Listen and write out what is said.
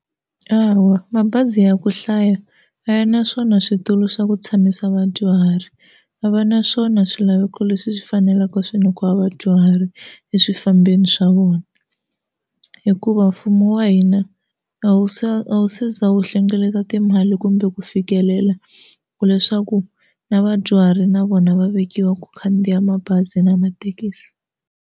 Hawa mabazi ya ku hlaya a ya naswona switulu swa ku tshamisa vadyuhari va va naswona swilaveko leswi swi faneleke swi nyikiwa vadyuhari eswifambeni swa vona hikuva mfumo wa hina a wu se a wu se za wu hlengeleta timali kumbe ku fikelela ku leswaku na vadyuhari na vona va vekiwa ku khandziya mabazi na mathekisi.